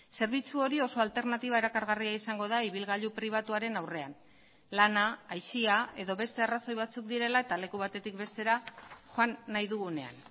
zerbitzu hori oso alternatiba erakargarria izango da ibilgailu pribatuaren aurrean lana aisia edo beste arrazoi batzuk direla eta leku batetik bestera joan nahi dugunean